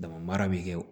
Dama mara bɛ kɛ